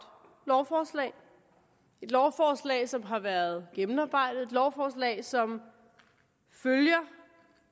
lovforslag et lovforslag som har været gennemarbejdet et lovforslag som følger